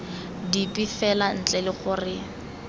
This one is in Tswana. dipe fela ntle le gore